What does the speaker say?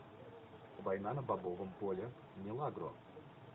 война на бобовом поле милагро